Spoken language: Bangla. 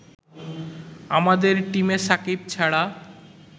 আমাদের টিমে সাকিব ছাড়া